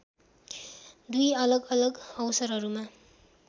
दुई अलगअलग अवसरहरूमा